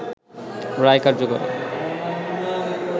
রায় কার্যকরে